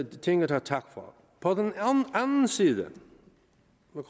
tinget have tak for på den anden side